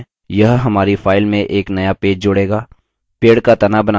यह हमारी फाइल में एक नया पेज जोड़ेगा